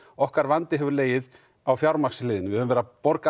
okkar vandi hefur legið á fjármagnsliðnum við höfum verið að borga